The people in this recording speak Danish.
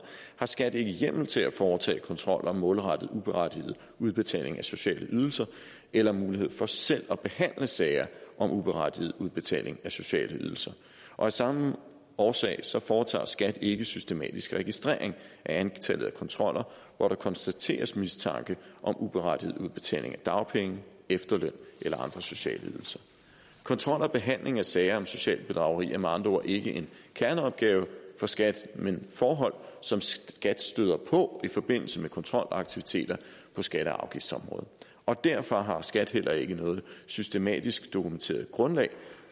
har skat ikke hjemmel til at foretage kontroller målrettet uberettiget udbetaling af sociale ydelser eller mulighed for selv at behandle sager om uberettiget udbetaling af sociale ydelser af samme årsag foretager skat ikke systematisk registrering af antallet af kontroller hvor der konstateres mistanke om uberettiget udbetaling af dagpenge efterløn eller andre sociale ydelser kontrol og behandling af sager om socialt bedrageri er med andre ord ikke en kerneopgave for skat men forhold som skat støder på i forbindelse med kontrolaktiviteter på skatte og afgiftsområdet og derfor har skat heller ikke noget systematisk dokumenteret grundlag